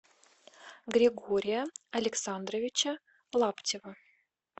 григория александровича лаптева